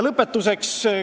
Lõpetuseks.